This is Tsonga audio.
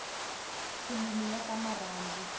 filimi ya ta marhandu